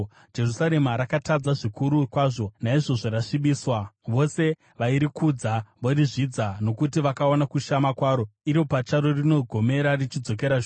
Jerusarema rakatadza zvikuru kwazvo, naizvozvo rasvibiswa. Vose vairikudza vorizvidza, nokuti vakaona kushama kwaro; iro pacharo rinogomera, richidzokera shure.